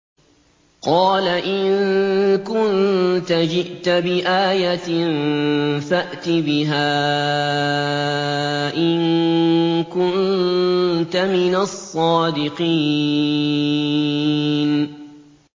قَالَ إِن كُنتَ جِئْتَ بِآيَةٍ فَأْتِ بِهَا إِن كُنتَ مِنَ الصَّادِقِينَ